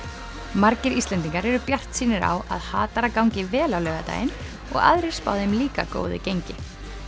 margir Íslendingar eru bjartsýnir á að hatara gangi vel á laugardaginn og aðrir spá þeim líka góðu gengi